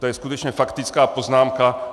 To je skutečně faktická poznámka.